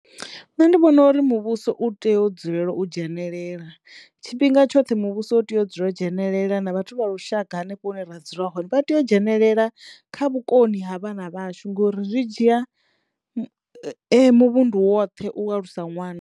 Nṋe ndi vhona uri muvhuso u teyo u dzulela u dzhenelela tshifhinga tshoṱhe muvhuso u teyo u dzula u dzhenelela na vhathu vha lushaka hanefho hune ra dzula hone vha teyo dzhenelela kha vhukoni ha vhana vhashu ngori zwi dzhia muvhundu woṱhe u alusa ṅwana.